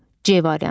C variantı.